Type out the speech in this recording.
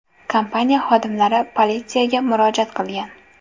Kompaniya xodimlari politsiyaga murojaat qilgan.